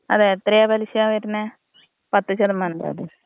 അതെ എത്രയാ പലിശ വരുന്നത്? പത്ത് ശതമാനം ചാര് ജോ?